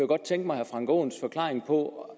godt tænke mig herre frank aaens forklaring på